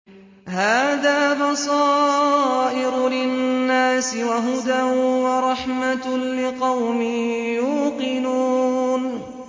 هَٰذَا بَصَائِرُ لِلنَّاسِ وَهُدًى وَرَحْمَةٌ لِّقَوْمٍ يُوقِنُونَ